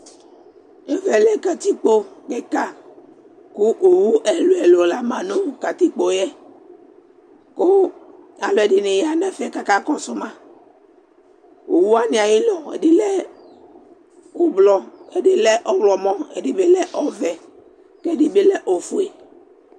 Ɛvɛ lɛ katikpo kɩka kʋ owu ɛlʋ-ɛlʋ la ma nʋ katikpo yɛ kʋ alʋɛdɩnɩ ya nʋ ɛfɛ kʋ akakɔsʋ ma Owu wanɩ ayʋ ʋlɔ ɛdɩ lɛ ʋblɔ, ɛdɩ lɛ ɔɣlɔmɔ, ɛdɩ bɩ lɛ ɔvɛ kʋ ɛdɩ bɩ lɛ ofue